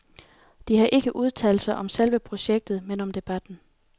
De har ikke udtalt sig om selve projektet, men om debatten.